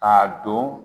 K'a don